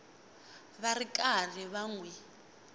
ri karhi va n wi